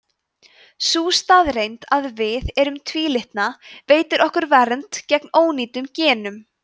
sú staðreynd að við erum tvílitna veitir okkur vernd fyrir ónýtum genum